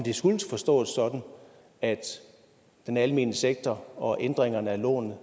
skulle forstås sådan at den almene sektor og ændringerne af lånene